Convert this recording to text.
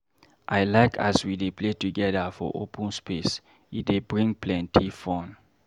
I like as we dey play togeda for open space, e dey bring plenty fun.